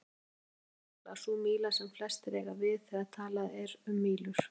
Enska mílan er líklega sú míla sem flestir eiga við þegar talað er um mílur.